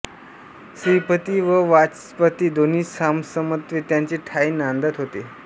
श्रीपती व वाचस्पति दोन्ही समसमत्वे त्याचे ठायी नांदत होते